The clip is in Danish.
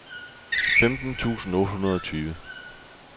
femten tusind otte hundrede og tyve